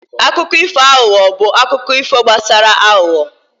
akụkọ ifo aghụghọ bụ akụkọ gbasara aghụghọ